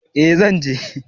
Eh zan je